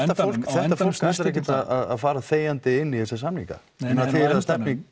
þetta fólk ætlar ekkert að fara þegjandi inn í þessa samninga